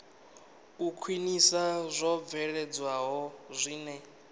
u khwinisa zwo bveledzwaho zwine